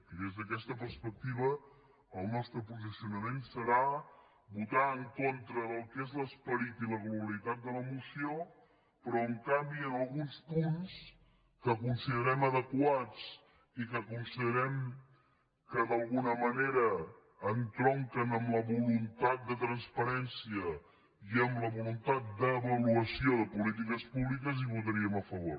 i des d’aquesta perspectiva el nostre posicionament serà votar en contra del que són l’esperit i la globalitat de la moció però en canvi en alguns punts que considerem adequats i que considerem que d’alguna manera entronquen amb la voluntat de transparència i amb la voluntat d’avaluació de polítiques públiques hi votaríem a favor